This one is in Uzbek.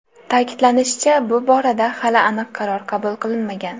Ta’kidlanishicha, bu borada hali aniq qaror qabul qilinmagan.